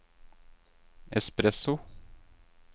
espresso